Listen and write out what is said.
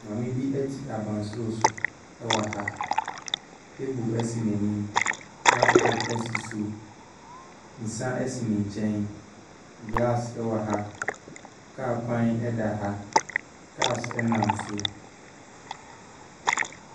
Maame bi te abansorosoro wɔ ha. Table si n’anim, laptop si so. Nsa si ne nkyɛn, glass wɔ ha. Kaa kwan wɔ ha. Cars nam so.